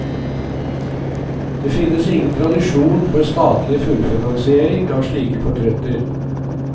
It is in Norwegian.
Det finnes ingen tradisjon for statlig fullfinansiering av slike portretter.